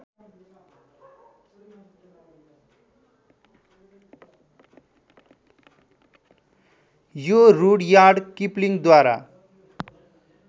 यो रुडयार्ड किपलिङ्गद्वारा